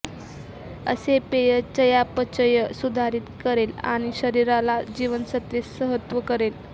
असे पेय चयापचय सुधारित करेल आणि शरीराला जीवनसत्वे सहत्व करेल